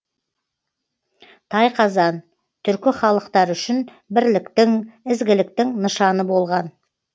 тайқазан түркі халықтары үшін бірліктің ізгіліктің нышаны болған